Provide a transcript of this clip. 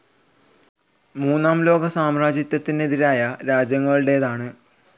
മൂന്നാം ലോകം സാമ്രാജ്യത്വത്തിനെതിരായ രാജ്യങ്ങളുടേതാണ്.